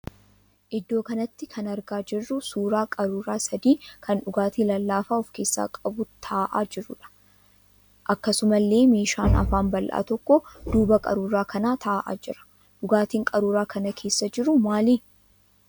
Iddoo kanatti kan argaa jirruu suuraa qaruuraa sadii kan dhugaatii lallaafaa of keessaa qabu ta'aa jiruudha. Akkasumallee meeshaan afaan bal'aa tokko duuba qaruuraa kanaa ta'aa jira. Dhugaatiin qaruuraa kana keessa jiru maali?